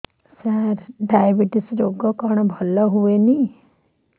ସାର diabetes ରୋଗ କଣ ଭଲ ହୁଏନି କି